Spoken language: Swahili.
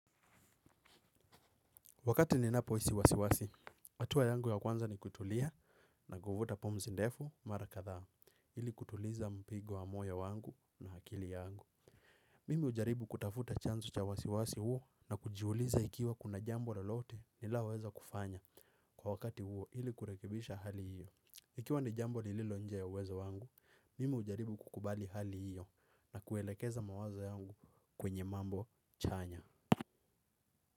Wakati ninapo hisi wasiwasi, hatua yangu ya kwanza ni kutulia na kuvuta pumzi ndevu mara kadhaa, ili kutuliza mpigo wa moyo wangu na akili yangu. Mimi hujaribu kutafuta chanzo cha wasiwasi huo na kujiuliza ikiwa kuna jambo lolote ninaloweza kufanya kwa wakati huo ili kurekebisha hali hiyo. Ikiwa ni jambo lililo nje ya uweza wangu, mimi hujaribu kukubali hali hiyo na kuelekeza mawaza yangu kwenye mambo chanya.